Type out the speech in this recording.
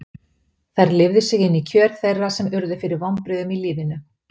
Þær lifðu sig inn í kjör þeirra sem urðu fyrir vonbrigðum í lífinu.